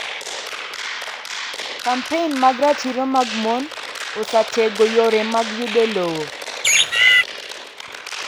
Kampein mag ratiro mag mon osatego yore mag yudo lowo